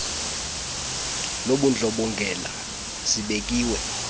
lobundlo bongela zibekiwe